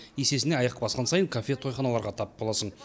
есесіне аяқ басқан сайын кафе тойханаларға тап боласың